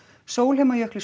Sólheimajökli